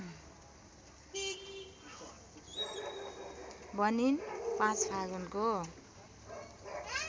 भनिन् ५ फागुनको